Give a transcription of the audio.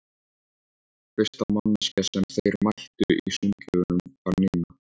Fyrsta manneskja sem þeir mættu í sundlaugunum var Nína.